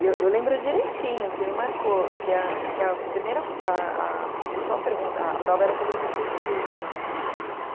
E eu lembro direitinho que me marcou que a que a primeira, a principal pergunta, a prova era sobre mercantilismo na prova de economia.